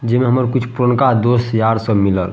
जे में हमर कुछ पुरनका दोस्त यार सब मिलल।